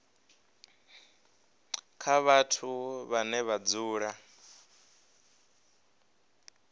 kha vhathu vhane vha dzula